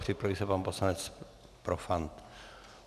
Připraví se pan poslanec Profant.